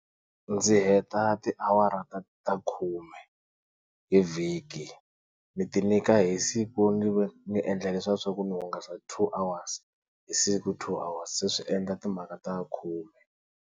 Ndzi heta tiawara ta ta khume hi vhiki ni ti nyika hi siku ni ni endla leswa swaku ni hungasa two hours hi siku two hours se swi endla timhaka ta khume.